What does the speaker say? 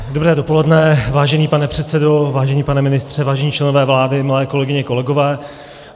Dobré dopoledne, vážený pane předsedo, vážený pane ministře, vážení členové vlády, milé kolegyně, kolegové.